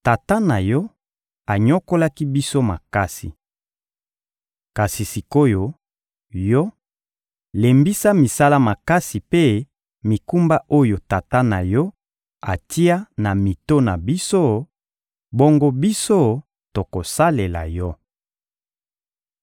— Tata na yo anyokolaki biso makasi. Kasi sik’oyo, yo, lembisa misala makasi mpe mikumba oyo tata na yo atia na mito na biso; bongo biso, tokosalela yo.